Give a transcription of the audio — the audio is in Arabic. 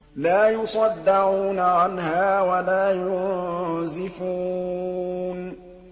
لَّا يُصَدَّعُونَ عَنْهَا وَلَا يُنزِفُونَ